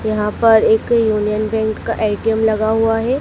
यहां पर एक यूनियन बैंक का ए_टी_एम लगा हुआ है।